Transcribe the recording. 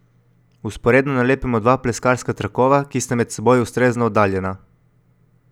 Vzporedno nalepimo dva pleskarska trakova, ki sta med seboj ustrezno oddaljena.